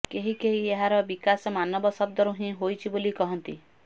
କେହି କେହି ଏହାର ବିକାଶ ମାନବ ଶବ୍ଦରୁ ହିଁ ହୋଇଛି ବୋଲି କହନ୍ତି